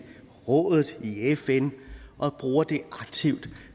rådet i fn og bruger det aktivt ved